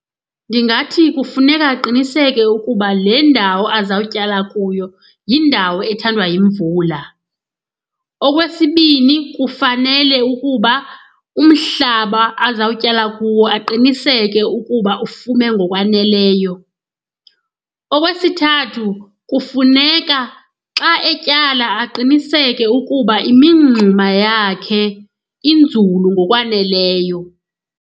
Ndingathi kufuneka aqiniseke ukuba le ndawo azawutyala kuyo yindawo ethandwa yimvula. Okwesibini, kufanele ukuba umhlaba azawutyala kuwo aqiniseke ukuba ufume ngokwaneleyo. Okwesithathu, kufuneka xa etyala aqiniseke ukuba imingxuma yakhe inzulu ngokwaneleyo.